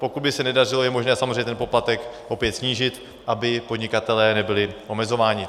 Pokud by se nedařilo, je možné samozřejmě ten poplatek opět snížit, aby podnikatelé nebyli omezováni.